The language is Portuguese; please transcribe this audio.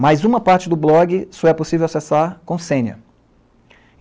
Mas uma parte do blog só é possível acessar com senha.